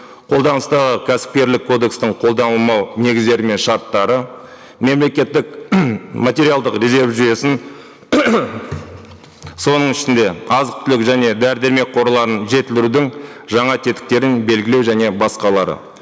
қолданыстағы кәсіпкерлік кодекстің қолданылмау негіздері мен шарттары мемлекеттік материалдық резерв жүйесін соның ішінде азық түлік және дәрі дәрмек қорларын жетілдірудің жаңа тетіктерін белгілеу және басқалары